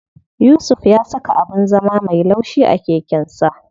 Yusuf ya saka abin zama me laushi a keken sa.